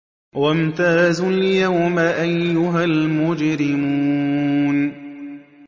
وَامْتَازُوا الْيَوْمَ أَيُّهَا الْمُجْرِمُونَ